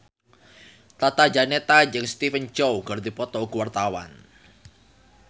Tata Janeta jeung Stephen Chow keur dipoto ku wartawan